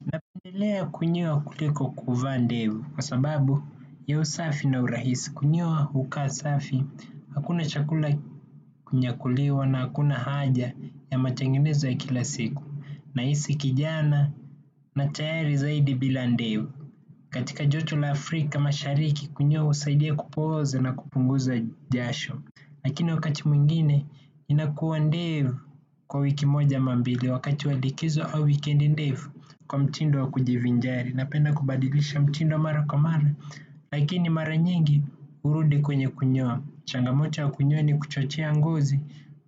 Napendelea kunyoa kuliko kuvaa ndevu kwa sababu ya usafi na urahisi kunyoa hukaa safi. Hakuna chakula kunyakuliwa na hakuna haja ya matengenezo ya kila siku. Nahisi kijana na tayari zaidi bila ndevu. Katika joto la Afrika mashariki kunyoa husaidia kupooza na kupunguza jasho. Lakini wakati mwingine inakuwa ndevu kwa wiki moja ama mbili wakati walikizo au weekend ndevu kwa mtindo wa kujivinjari napenda kubadilisha mtindo mara kwa mara. Lakini mara nyingi hurudi kwenye kunyoa. Changamoto ya kunyoa ni kuchochea ngozi.